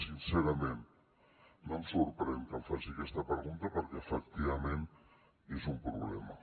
sincerament no em sorprèn que em faci aquesta pregunta perquè efectivament és un problema